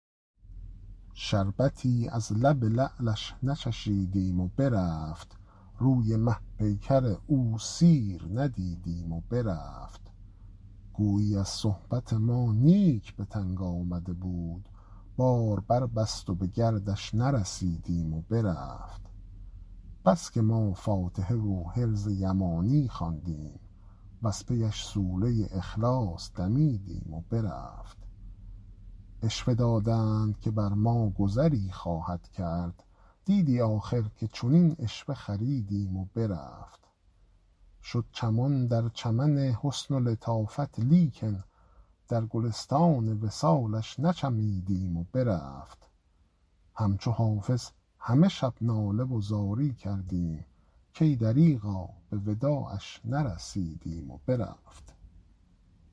شربتی از لب لعلش نچشیدیم و برفت روی مه پیکر او سیر ندیدیم و برفت گویی از صحبت ما نیک به تنگ آمده بود بار بربست و به گردش نرسیدیم و برفت بس که ما فاتحه و حرز یمانی خواندیم وز پی اش سوره اخلاص دمیدیم و برفت عشوه دادند که بر ما گذری خواهی کرد دیدی آخر که چنین عشوه خریدیم و برفت شد چمان در چمن حسن و لطافت لیکن در گلستان وصالش نچمیدیم و برفت همچو حافظ همه شب ناله و زاری کردیم کای دریغا به وداعش نرسیدیم و برفت